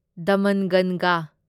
ꯗꯃꯟꯒꯟꯒꯥ